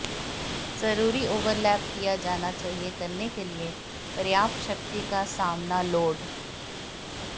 जरूरी ओवरलैप किया जाना चाहिए करने के लिए पर्याप्त शक्ति का सामना लोड